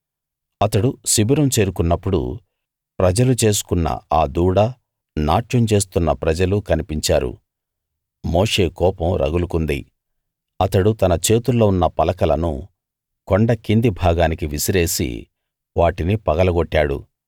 అతడు శిబిరం చేరుకున్నప్పుడు ప్రజలు చేసుకున్న ఆ దూడ నాట్యం చేస్తున్న ప్రజలు కనిపించారు మోషే కోపం రగులుకుంది అతడు తన చేతుల్లో ఉన్న పలకలను కొండ కింది భాగానికి విసిరేసి వాటిని పగలగొట్టాడు